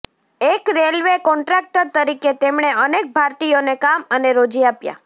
એક railway contractor તરીકે તેમણે અનેક ભારતીયોને કામ અને રોજી આપ્યા